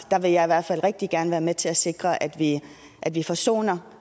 vil jeg i hvert fald rigtig gerne være med til at sikre at vi at vi forsoner